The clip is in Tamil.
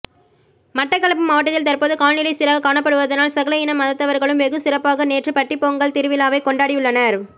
மட்டக்களப்பு மாவட்டத்தில் தற்போது காலநிலை சீராக காணப்படுவதனால் சகல இன மதத்தவர்களும் வெகு சிறப்பாக நேற்று பட்டிப்பொங்கல் திருவிழாவை கொண்டாடியுள்ளனர்